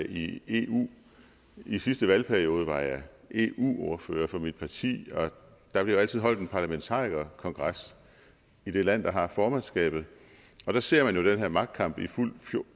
i eu i sidste valgperiode var jeg eu ordfører for mit parti og der bliver jo altid holdt en parlamentarikerkongres i det land der har formandskabet der ser man jo den her magtkamp i fuldt